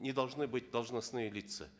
не должны быть должностные лица